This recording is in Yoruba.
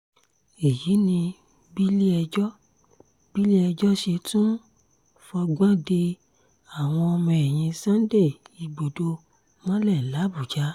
èyí ni bílé-ẹjọ́ bílé-ẹjọ́ ṣe tún fọgbọ́n de àwọn ọmọ ẹ̀yìn sunday igbodò mọ́lẹ̀ làbújá